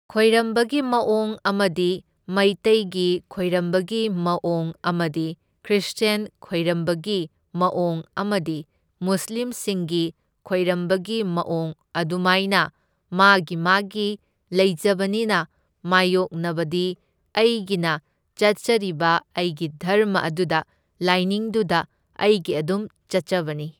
ꯈꯣꯏꯔꯝꯕꯒꯤ ꯃꯑꯣꯡ ꯑꯃꯗꯤ ꯃꯩꯇꯩꯒꯤ ꯈꯣꯏꯔꯝꯕꯒꯤ ꯃꯑꯣꯡ ꯑꯃꯗꯤ ꯈ꯭ꯔꯤꯁꯇ꯭ꯌꯟ ꯈꯣꯏꯔꯝꯕꯒꯤ ꯃꯑꯣꯡ ꯑꯃꯗꯤ ꯃꯨꯁꯂꯤꯝꯁꯤꯡꯒꯤ ꯈꯣꯏꯔꯝꯕꯒꯤ ꯃꯑꯣꯡ ꯑꯗꯨꯃꯥꯏꯅ ꯃꯥꯒꯤ ꯃꯥꯒꯤ ꯂꯩꯖꯕꯅꯤꯅ ꯃꯥꯢꯌꯣꯛꯅꯕꯗꯤ ꯑꯩꯒꯤꯅ ꯆꯠꯆꯔꯤꯕ ꯑꯩꯒꯤ ꯙꯔꯃ ꯑꯗꯨꯗ ꯂꯥꯏꯅꯤꯡꯗꯨꯗ ꯑꯩꯒꯤ ꯑꯗꯨꯝ ꯆꯠꯆꯕꯅꯤ꯫